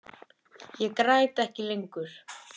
Ég græt ekki lengur.